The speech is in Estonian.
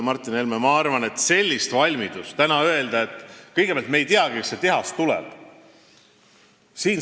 Ma arvan, et täna ei ole sellist valmidust öelda, kas see tehas tuleb.